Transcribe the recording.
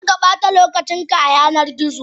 Karkabata lokacin ka a yanar gizo.